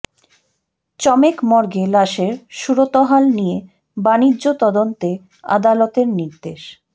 চমেক মর্গে লাশের সুরতহাল নিয়ে বাণিজ্য তদন্তে আদালতের নির্দেশ